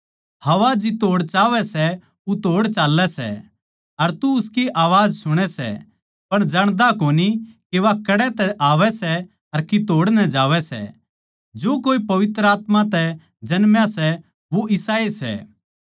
हवा जितोड़ चाहवै सै उतोड़ चाल्लै सै अर तू उसकी अवाज सुणै सै पर जाण्दा कोनी के वा कड़ै तै आवै सै अर कितोड़ नै जावै सै जो कोए पवित्र आत्मा तै जन्मा सै वो इसाए सै